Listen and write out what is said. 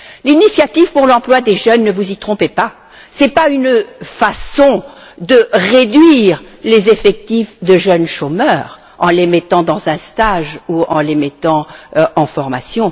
L'initiative pour l'emploi des jeunes ne vous y trompez pas ce n'est pas une façon de réduire les effectifs de jeunes chômeurs en les mettant dans un stage ou en les mettant en formation.